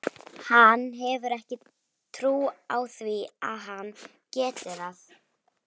Hann hefur ekki trú á því að hann geti það.